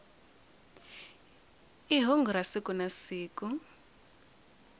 i hungu ra siku na siku